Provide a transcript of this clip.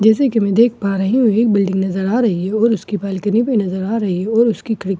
जैसा की मैं देख पा रही हूँ एक बिल्डिंग नजर आ रही है और उसकी बालकनी भी नजर आ रही है और उसकी खिड़कियां भी नजर आ रही हैं।